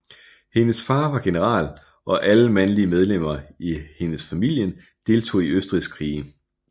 Hendes far var general og alle mandlige medlemmer i hendes familien deltog i Østrigs krige